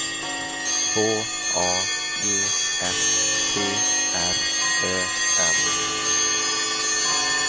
H A G S T R Ö M